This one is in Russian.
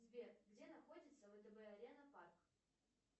сбер где находится втб арена парк